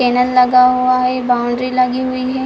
Channel लगा हुआ है बाउंड्री लगी हुई है।